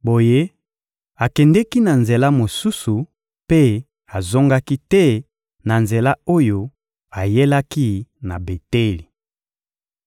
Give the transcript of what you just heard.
Boye, akendeki na nzela mosusu mpe azongaki te na nzela oyo ayelaki na Beteli.